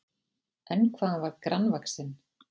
En hvað hann var grannvaxinn!